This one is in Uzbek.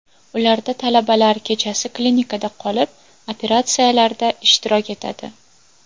Ularda talabalar kechasi klinikada qolib, operatsiyalarda ishtirok etadi.